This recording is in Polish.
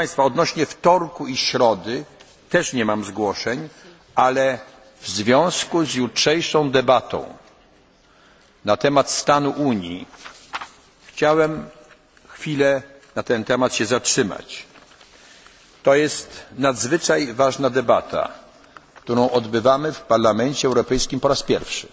ma zgłoszeń. Proszę państwa, odnośnie do wtorku i środy też nie mam zgłoszeń, ale w związku z jutrzejszą debatą na temat stanu Unii, chciałbym na chwilę zatrzymać się na tym temacie To jest nadzwyczaj ważna debata, którą odbywamy w Parlamencie Europejskim po